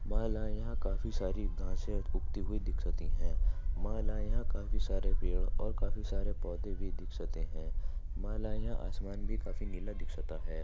मला यहां काफी सारी गाहसे उगती हुई दीक्षिता हे मला यहां काफी सारे पेड और काफी सारे पौडे दीक्षित हे मला यहां असमानभी काफी नीला दीक्षित हे.